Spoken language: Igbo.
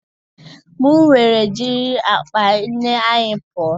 m wee jiri akpa nne anyi pụọ